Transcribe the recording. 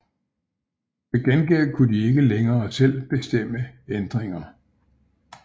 Til gengæld kunne de ikke længere selv bestemme ændringer